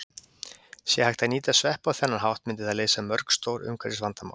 Sé hægt að nýta sveppi á þennan hátt myndi það leysa mörg stór umhverfisvandamál.